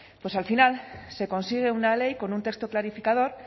pues al final se consigue una ley con un texto clarificador